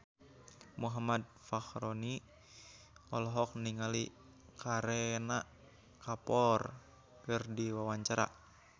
Muhammad Fachroni olohok ningali Kareena Kapoor keur diwawancara